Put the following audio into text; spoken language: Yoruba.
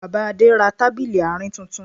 Bàbá Adé ra tábìlì àárín tuntun